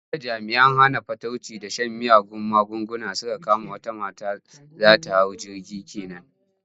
Jiya jami'an hana fatauci da shan miyagun magunguna sun kama wata mata za ta hau jirgi ke nan.